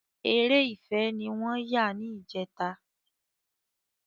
Eré ìfẹ ni wọ́n yà ní ìjẹta